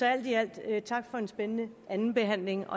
alt i alt tak for en spændende andenbehandling